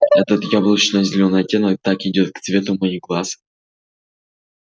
а этот яблочно-зеленый оттенок так идёт к цвету моих глаз